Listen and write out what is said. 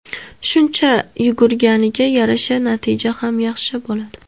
Shuncha yugurganiga yarasha, natijasi ham yaxshi bo‘ladi.